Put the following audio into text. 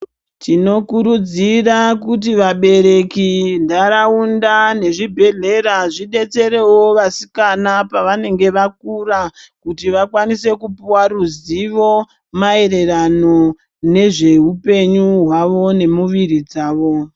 Tinokurudzira kuti vabereki ntaraunda nezvibhedhlera zvibetserewo vasikana pavanenge vakura kuti vakwanise Kupuwa ruzivo maerereno nezveupenyu hwavo nemuviri dzawo.